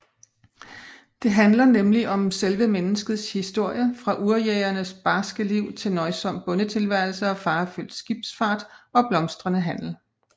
Det handler nemlig om selve menneskets historie fra urjægernes barske liv til nøjsom bondetilværelse og farefyldt skibsfart og blomstrende handel